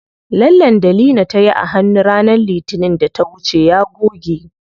Lallen da Leena tayi a hannu ranar litinin da ta wuce ya goge.